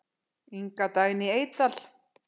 Inga Dagný Eydal.